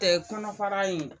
Tɛ kɔnɔfara in